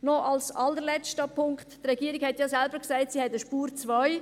Noch ein allerletzter Punkt: Die Regierung hat ja selbst gesagt, sie habe eine «Spur 2».